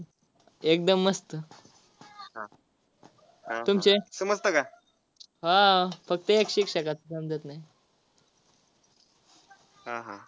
हा हा.